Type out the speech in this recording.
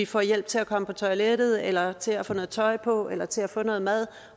får hjælp til at komme på toilettet eller til at få noget tøj på eller til at få noget mad